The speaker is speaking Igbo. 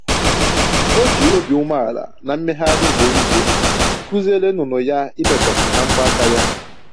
O ji obi umeala na mmegharị ugboro ugboro kụziere nnụnụ ya ibekwasị na mbọ aka ya